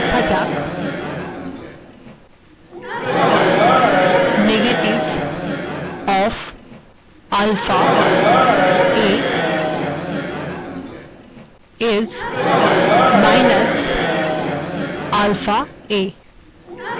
এবার লেখা যাক negative of alpha a is minus alpha a অর্থাৎ ঋণাত্মক আলফাa হল মাইনাস আলফাa